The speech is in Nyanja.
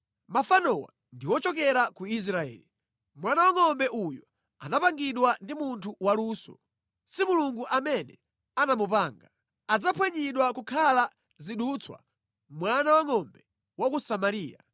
Mafanowa ndi ochokera ku Israeli! Mwana wa ngʼombe uyu anapangidwa ndi munthu waluso; si Mulungu amene anamupanga. Adzaphwanyidwa nʼkukhala zidutswa, mwana wangʼombe wa ku Samariya.